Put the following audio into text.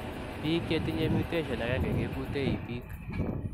Piik chetinyee mutetion agenge kekutee ipiik.